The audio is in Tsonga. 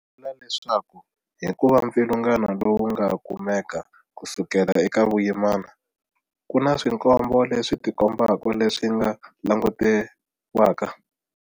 U vula leswaku hikuva mpfilungano lowu wu nga kumeka kusukela eka vuyimana, ku na swikombo leswi tikombaka leswi nga langutiwaka.